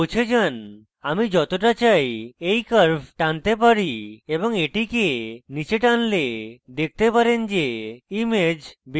আমি যতটা চাই এই curve টানতে পারি এবং এটিকে নীচে টানলে দেখতে পারেন যে image বেশী গাঢ় হয়ে যায়